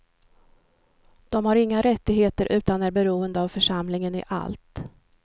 De har inga rättigheter utan är beroende av församlingen i allt.